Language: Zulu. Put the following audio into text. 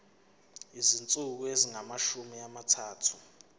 izinsuku ezingamashumi amathathu